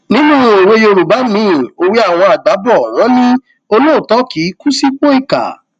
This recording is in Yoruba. nínú òwe yorùbá miin ewé àwọn àgbà bò wọn ní olóòótọ kì í kú sípò ìkà